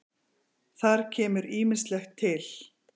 Þar kemur ýmislegt til.